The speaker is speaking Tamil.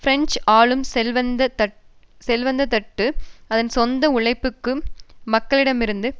பிரெஞ்சு ஆளும் செல்வந்த தட்டு அதன் சொந்த உழைக்கும் மக்களிடமிருந்து